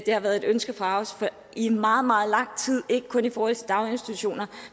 har været et ønske fra os i meget meget lang tid ikke kun i forhold til daginstitutioner